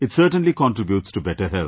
It certainly contributes to better health